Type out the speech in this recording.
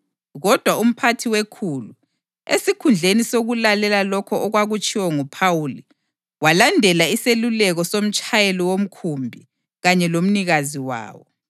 Kodwa umphathi wekhulu, esikhundleni sokulalela lokho okwakutshiwo nguPhawuli, walandela iseluleko somtshayeli womkhumbi kanye lomnikazi wawo.